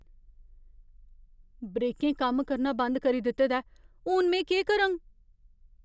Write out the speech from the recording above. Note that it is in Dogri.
ब्रेकें कम्म करना बंद करी दित्ते दा ऐ। हून, में केह् करङ?